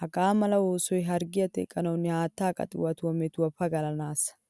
Hagaamala oosoy harggiyaa teqanawunne haattaa qaxiwatuwaa metuwaa pagalanasa.